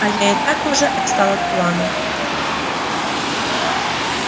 а я и так уже отстал от плана